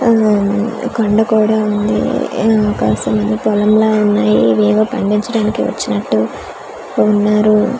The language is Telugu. అఆ ఈ కొండ కూడా ఉంది ఊ కాస్త పొలం లా ఉన్నాయ్ ఇవి ఏవో పండిచాడానికి వచ్చినట్టు ఉన్నారు .